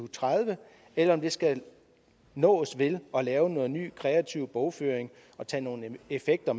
tredive eller om det skal nås ved at lave noget ny kreativ bogføring og tage nogle effekter